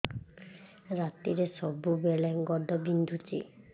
ରାତିରେ ସବୁବେଳେ ଗୋଡ ବିନ୍ଧୁଛି